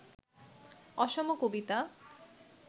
অসম কবিতা